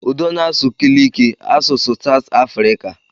Udo na-asụ Kiliki, asụsụ Satụ Afrika